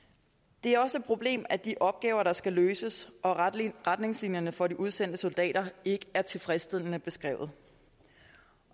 det er også et problem at de opgaver der skal løses og retningslinjerne for de udsendte soldater ikke er tilfredsstillende beskrevet